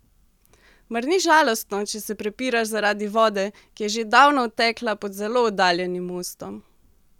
Mar ni žalostno, če se prepiraš zaradi vode, ki je že davno odtekla pod zelo oddaljenim mostom?